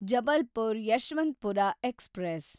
Jabalpur Yeshwantpur express